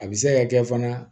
A bɛ se ka kɛ fana